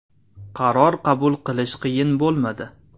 Qaror qabul qilish qiyin bo‘lmadi.